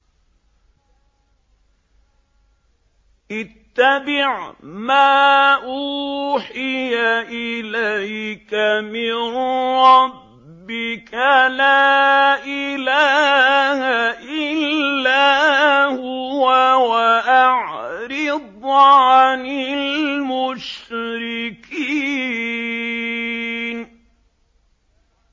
اتَّبِعْ مَا أُوحِيَ إِلَيْكَ مِن رَّبِّكَ ۖ لَا إِلَٰهَ إِلَّا هُوَ ۖ وَأَعْرِضْ عَنِ الْمُشْرِكِينَ